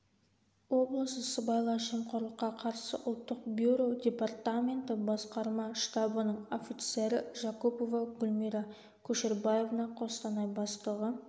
облысы сыбайлас жемқорлыққа қарсы ұлттық бюро департаменті басқарма штабының офицері жакупова гульмира кушербаевна қостанай бастығы